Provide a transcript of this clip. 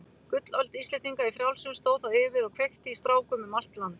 Gullöld Íslendinga í frjálsum stóð þá yfir og kveikti í strákum um allt land.